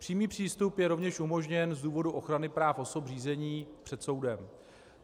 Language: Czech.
Přímý přístup je rovněž umožněn z důvodu ochrany práv osob řízení před soudem.